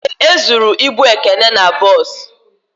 Ee, e zụrụ ịbụ Ekene n'bos